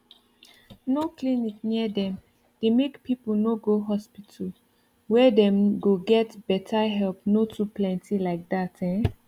no clinic near dem dey make people no go hospital where dem no get better helpno to plenty like that ehn